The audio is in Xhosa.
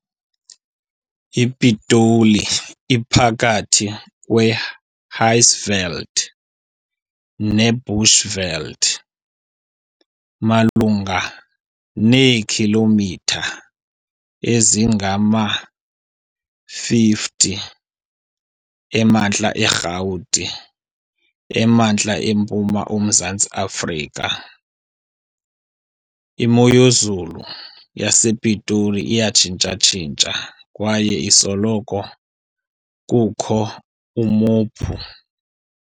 iPitoli iphakathi kweHighveld neBushveld, malunga neekhilomitha ezingama-50 emantla eRhawuti emantla-mpuma oMzantsi Afrika. Imoyezulu yasePitoli iyatshintsa-tshintsha kwaye kusoloko kukho umophu